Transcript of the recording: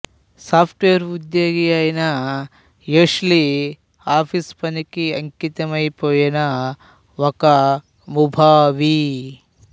soft wear ఉద్యోగి అయిన Ashley office పని కి అంకితమైపోయిన ఒక ముభావి